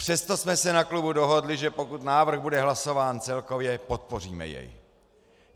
Přesto jsme se na klubu dohodli, že pokud návrh bude hlasován celkově, podpoříme jej.